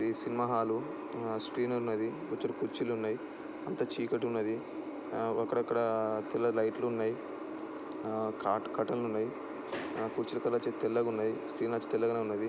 ఇది cinema hall ఆ screen ఉన్నది బొచ్చెడు కుర్చీలు ఉన్నాయి అంత చీకటి ఉన్నది ఆ అక్కడక్కడ ఆ తెల్ల లైట్ లు ఉన్నాయి ఆ కాట్--కర్టెన్ లు ఉన్నాయి కుర్చీల కలర్ వచ్చి తెల్లగా ఉన్నాయి స్క్రీన్ అచ్చి తెల్లగే ఉన్నది.